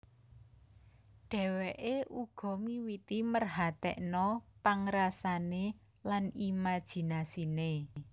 Dhéwéké uga miwiti merhatèkna pangrasané lan imajinasiné